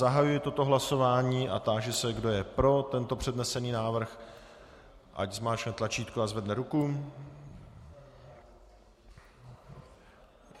Zahajuji toto hlasování a táži se, kdo je pro tento přednesený návrh, ať zmáčkne tlačítko a zvedne ruku.